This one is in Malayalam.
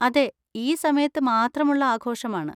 അതെ, ഈ സമയത്ത് മാത്രമുള്ള ആഘോഷമാണ്.